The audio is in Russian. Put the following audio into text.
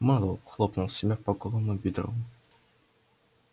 мэллоу хлопнул себя по голому бедру